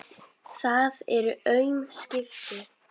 Það eru aum skipti.